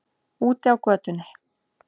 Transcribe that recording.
Úti á götunni.